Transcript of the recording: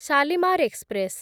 Shalimar express